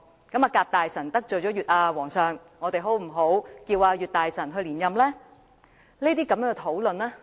既然甲大臣得罪了皇上，不如我們推舉乙大臣出任吧？